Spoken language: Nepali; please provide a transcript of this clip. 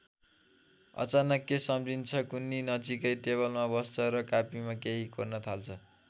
अचानक के सम्झिन्छ कुन्नि नजिकैको टेबलमा बस्छ र कापीमा केही कोर्न थाल्छ।